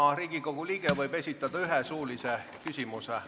Iga Riigikogu liige võib esitada ühe suulise küsimuse.